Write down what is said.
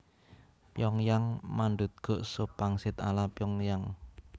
Pyongyang mandutguk sup pangsit ala Pyongyang